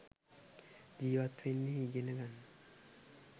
ජීවත් වෙන්න ඉගෙන ගන්න.